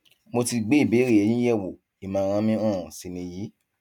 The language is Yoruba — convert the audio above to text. mo ti gbé ìbéèrè yín yẹwò ìmọràn mi um sì nìyí